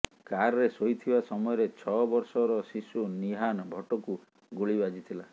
କାରରେ ଶୋଇଥିବା ସମୟରେ ଛଅ ବର୍ଷର ଶିଶୁ ନିହାନ ଭଟ୍ଟଙ୍କୁ ଗୁଳି ବାଜିଥିଲା